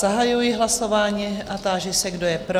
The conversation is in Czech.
Zahajuji hlasování a ptám se, kdo je pro?